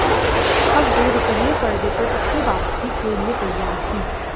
अब वे रूपहले पर्दे पर अपनी वापसी के लिए तैयार हैं